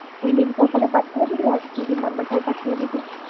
ওই link টাও তাহলে পাঠিয়ে দিবি আর দিদির number টাও পাঠিয়ে